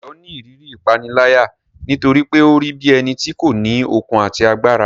Dayo ni ìrírí ìpániláyà nítorí pé ó rí bí ẹni tí kò ní okun àti agbára.